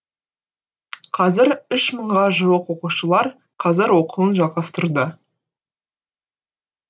қазір үш мыңға жуық оқушылар қазір оқуын жалғастыруда